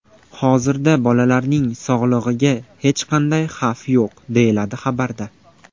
Hozirda bolalarning sog‘lig‘iga hech qanday xavf yo‘q”, deyiladi xabarda.